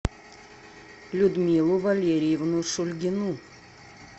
людмилу валерьевну шульгину